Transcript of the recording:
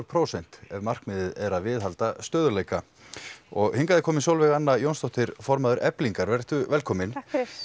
prósent ef markmiðið er að viðhalda stöðugleika hingað er komin Sólveig Anna Jónsdóttir formaður Eflingar vertu velkomin